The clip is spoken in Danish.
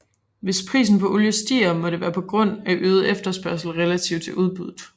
Hvis prisen på olie stiger må det være på grund af øget efterspørgsel relativt til udbuddet